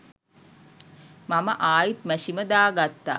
මම ආයිත් මැෂිම දාගත්තා